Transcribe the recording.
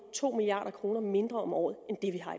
to milliard kroner mindre om året end